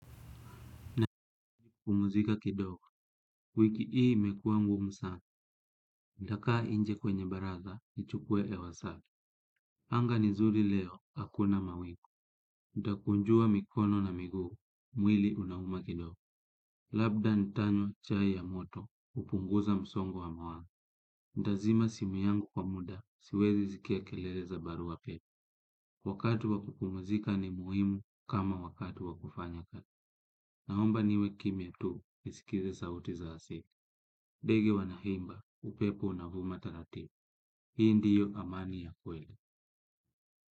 Na kupumuzika kidogo, wiki ii mekua ngumu sana, ntakaa nje kwenye baraza, nichukue hewa safi. Anga ni zuri leo, hakuna mawingu nitakunjua mikono na miguu mwili unauma kidogo labda nitanywa chai ya moto kupunguza msongo wa mawazo. Nitzima simu yangu kwa muda, siwezi sikia kelele za barua pepe. Wakati wa kupumzika ni muhimu kama wakati wakufanya kazi. Naomba niwe kimya tu, nisikize sauti za asili. Ndege wanaimba, upepo unavuma taratibu. Hii ndio amani ya kweli.